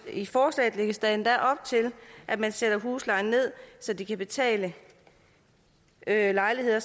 i forslaget lægges der endda op til at man sætter huslejen ned så de kan betale lejligheder